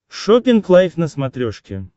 шоппинг лайф на смотрешке